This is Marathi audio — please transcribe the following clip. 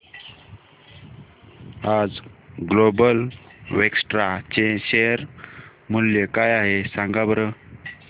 आज ग्लोबल वेक्ट्रा चे शेअर मूल्य काय आहे सांगा बरं